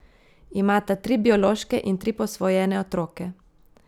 Imata tri biološke in tri posvojene otroke.